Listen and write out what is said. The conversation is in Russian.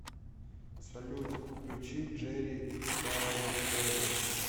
салют включи джери саутерн